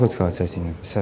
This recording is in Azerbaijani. Narkotik hadisəsi ilə.